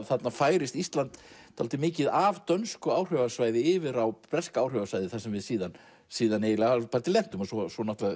þarna færist Ísland dálítið mikið af dönsku áhrifasvæði yfir á breska áhrifasvæðið þar sem við síðan síðan eiginlega hálfpartinn lentum og svo